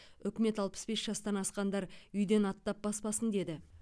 үкімет алпыс бес жастан асқандар үйден аттап баспасын деді